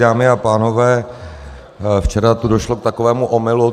Dámy a pánové, včera tu došlo k takovému omylu.